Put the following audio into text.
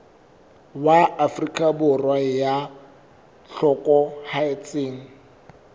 wa afrika borwa ya hlokahetseng